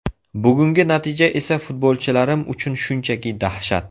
Bugungi natija esa futbolchilarim uchun shunchaki dahshat.